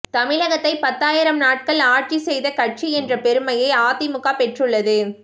தமிழகத்தை பத்தாயிரம் நாட்கள் ஆட்சி செய்த கட்சி என்ற பெருமையை அதிமுக பெற்றுள்ளது